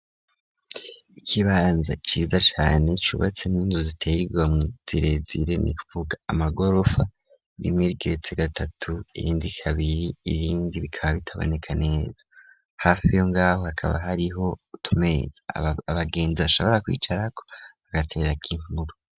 Ikibanza ciza cane cubatsemwo amazu ateye igomwe mu zirezire nivuga amagorofa rimwe igeretse gatatu irindi kabiri irindi bikaba bitaboneka neza hafi yo ngaho hakaba hariho utumeza abagenzi ashobora kwicara ko bagatera inkuru.